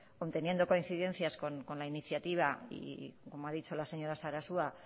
conteniendo coincidencias con la iniciativa y como ha dicho la señora sarasua